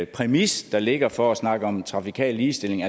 præmis der ligger for at snakke om trafikal ligestilling